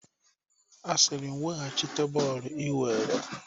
A sị m laghachite bọọlụ i were!